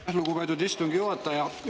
Aitäh, lugupeetud istungi juhataja!